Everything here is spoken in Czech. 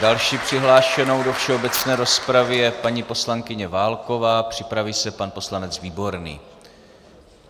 Další přihlášenou do všeobecné rozpravy je paní poslankyně Válková, připraví se pan poslanec Výborný.